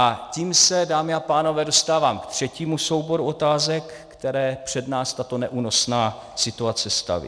A tím se, dámy a pánové, dostávám k třetímu souboru otázek, které před nás tato neúnosná situace staví.